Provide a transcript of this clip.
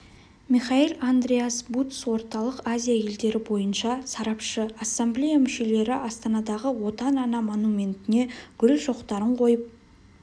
михаэль-андреас бутц орталық азия елдері бойынша сарапшы ассамблея мүшелері астанадағы отан ана монументіне гүл шоқтарын қойып